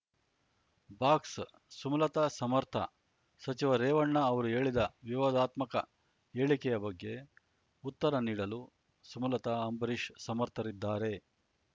box Sumalatha ಸಮರ್ಥ ಸಚಿವ ರೇವಣ್ಣ ಅವರು ಹೇಳಿದ ವಿವಾದಾತ್ಮಕ ಹೇಳಿಕೆಯ ಬಗ್ಗೆ ಉತ್ತರ ನೀಡಲು ಸುಮಲತ ಅಂಬರೀಶ್ ಸಮರ್ಥರಿದ್ದಾರೆ